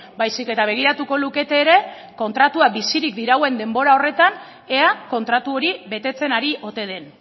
baizik eta begiratuko lukete ere kontratua bizirik dirauen denbora horretan ea kontratu hori betetzen ari ote den